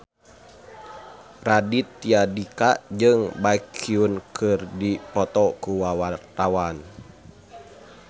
Raditya Dika jeung Baekhyun keur dipoto ku wartawan